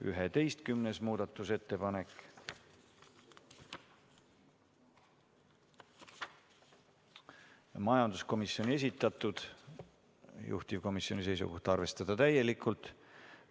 11. muudatusettepanek, majanduskomisjoni esitatud, juhtivkomisjoni seisukoht on arvestada täielikult.